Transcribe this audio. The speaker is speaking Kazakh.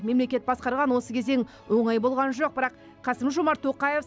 мемлекет басқарған осы кезең оңай болған жоқ бірақ қасым жомарт тоқаев